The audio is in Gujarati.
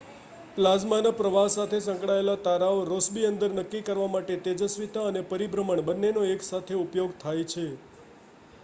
પ્લાઝ્માના પ્રવાહ સાથે સંકળાયેલો તારાનો રૉસ્બી નંબર નક્કી કરવા માટે તેજસ્વિતા અને પરિભ્રમણ બન્નેનો એકસાથે ઉપયોગ થાય છે